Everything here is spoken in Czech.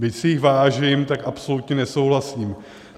Byť si jich vážím, tak absolutně nesouhlasím.